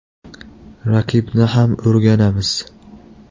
Raqibni ham o‘rganamiz.